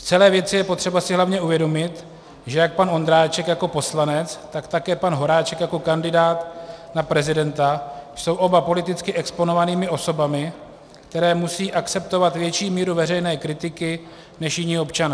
V celé věci je potřeba si hlavně uvědomit, že jak pan Ondráček jako poslanec, tak také pan Horáček jako kandidát na prezidenta jsou oba politicky exponovanými osobami, které musí akceptovat větší míru veřejné kritiky než jiní občané.